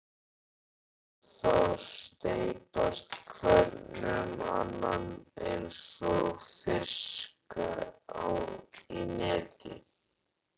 Sé þá steypast hvern um annan einsog fiska í neti.